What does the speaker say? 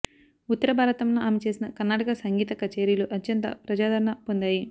ఉత్తర భారతంలో ఆమె చేసిన కర్నాటక సంగీత కచ్చేరీలు అత్యంత ప్రజాదరణ పొందాయి